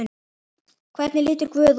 Hvernig lítur guð út?